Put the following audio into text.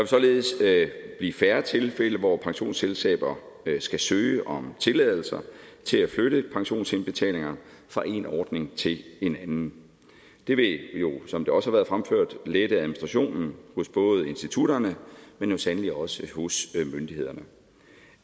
således blive færre tilfælde hvor pensionsselskaber skal søge om tilladelser til at flytte pensionsindbetalinger fra en ordning til en anden det vil jo som det også har været fremført lette administrationen hos både institutterne men sandelig også hos myndighederne